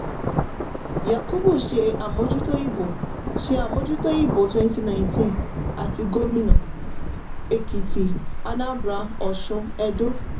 yakubu ṣe àmójútó ìbò ṣe àmójútó ìbò twenty nineteen àti gómínà ekiti anambra oṣun edo.